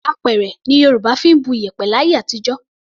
Apẹ̀rẹ̀ ni Yorùbá fi ń bu iyẹ̀pẹ̀ láyé àtijọ́.